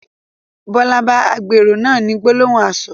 Bọlá bá agbèrò náà ni gbólóhùn asọ̀